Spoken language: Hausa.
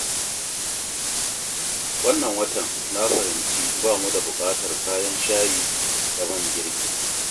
Wannan watan na fahimci ba mu da buƙatar kayan shayi da man girki.